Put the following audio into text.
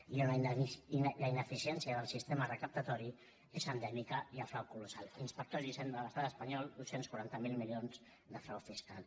i la ineficiència del sistema recaptatori és endèmica i el frau colossal inspectors d’hisenda de l’estat espanyol dos cents i quaranta miler milions de frau fiscal